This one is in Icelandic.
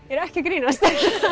er ekki að grínast